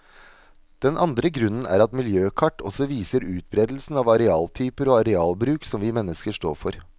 Den andre grunnen er at miljøkart også viser utberedelsen av arealtyper og arealbruk som vi mennesker står for.